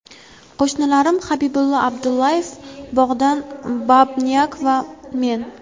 Qo‘shnilarim Habibullo Abdullayev, Bogdan Bubnyak va men.